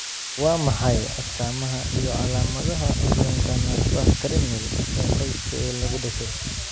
Waa maxay astamaha iyo calaamadaha curyaanka neerfaha cranial ee qoyska ee lagu dhasho?